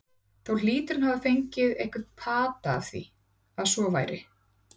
Þó hlýtur hann að hafa fengið einhvern pata af því, að svo væri.